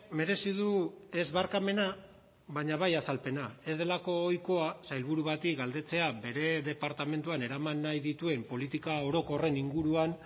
merezi du ez barkamena baina bai azalpena ez delako ohikoa sailburu bati galdetzea bere departamentuan eraman nahi dituen politika orokorren inguruan